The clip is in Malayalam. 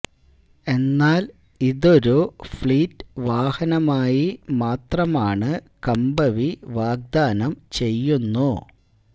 എന്നാൽ ഇതൊരു ഫ്ലീറ്റ് വാഹനമായി മാത്രമാണ് കമ്പവി വാഗ്ദാനം ചെയ്യുന്നു